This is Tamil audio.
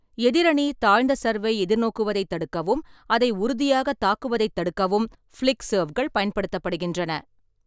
எதிரணி தாழ்ந்த சர்வை எதிர்நோக்குவதைத் தடுக்கவும் அதை உறுதியாகத் தாக்குவதைத் தடுக்கவும், ஃபிளிக் சர்வ்கள் பயன்படுத்தப்படுகின்றன.